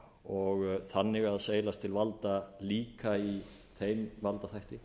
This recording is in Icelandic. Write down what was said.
og þannig að seilast til valda líka í þeim valdþætti